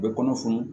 U bɛ kɔnɔ funu